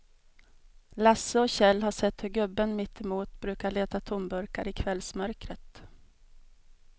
Lasse och Kjell har sett hur gubben mittemot brukar leta tomburkar i kvällsmörkret.